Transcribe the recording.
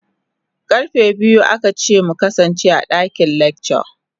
Karfe biyu aka ce mu kasance a dakin lecture.